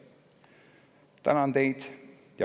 Tänan teid.